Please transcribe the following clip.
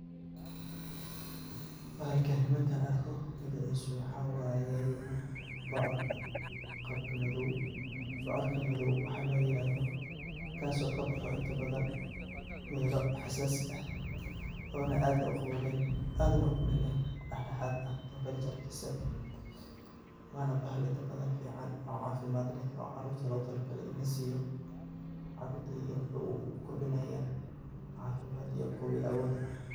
Bahalkani markan arko magicisa waxa waye bocorka qabka madow bocorka madow waxa loo yirahdo kaaso kaboxo inta badan melo xasaasi ah ona aad u qabowben aadna kulluleyn oo dhaxdhaxad eh temberajaadisa waa bahal inta badan fican oo caafimad leh oo carruurta logu tala gaale in laa siyo carurta yar wuxuu ukordinaya caafimad iyo qawi awood ah